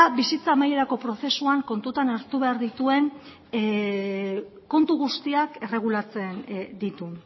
bitzitza amaierako prozesuan kontutan hartu behar dituen kontu guztiak erregulatzen ditu